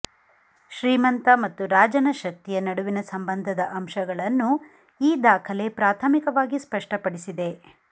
ಶ್ರೀಮಂತ ಮತ್ತು ರಾಜನ ಶಕ್ತಿಯ ನಡುವಿನ ಸಂಬಂಧದ ಅಂಶಗಳನ್ನು ಈ ದಾಖಲೆ ಪ್ರಾಥಮಿಕವಾಗಿ ಸ್ಪಷ್ಟಪಡಿಸಿದೆ